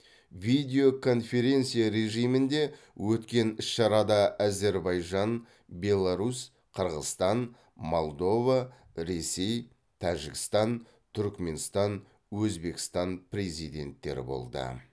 видео конференция режимінде өткен іс шарада әзербайжан беларусь қырғызстан молдова ресей тәжікстан түрікменстан өзбекстан президенттері болды